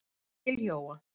Til Jóa.